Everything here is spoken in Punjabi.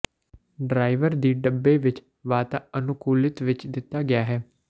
ਡਰਾਈਵਰ ਦੀ ਡੱਬੇ ਵਿੱਚ ਵਾਤਾਅਨੁਕੂਲਿਤ ਵਿਚ ਦਿੱਤਾ ਗਿਆ ਹੈ